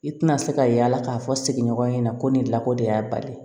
I tina se ka yaala k'a fɔ sigiɲɔgɔnya ɲɛna ko nin lakodiya bali